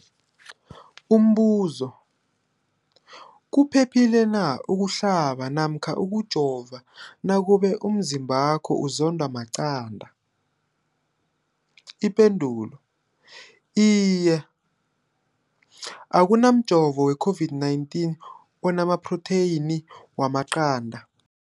Umbuzo, kuphephile na ukuhlaba namkha ukujova nakube umzimbakho uzondwa maqanda. Ipendulo, Iye. Akuna mjovo we-COVID-19 ona maphrotheyini wamaqanda.